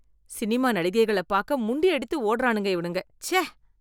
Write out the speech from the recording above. Cinema நடிகைகள பாக்க முண்டியடித்து ஓடுறானுங்க இவனுங்க, ச்சை.